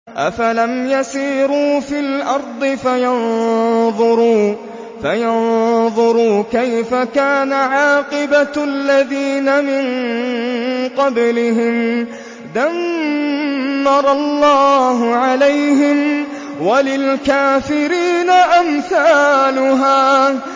۞ أَفَلَمْ يَسِيرُوا فِي الْأَرْضِ فَيَنظُرُوا كَيْفَ كَانَ عَاقِبَةُ الَّذِينَ مِن قَبْلِهِمْ ۚ دَمَّرَ اللَّهُ عَلَيْهِمْ ۖ وَلِلْكَافِرِينَ أَمْثَالُهَا